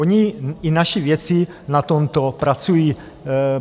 Oni i naši vědci na tomto pracují.